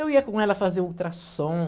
Eu ia com ela fazer ultrassom.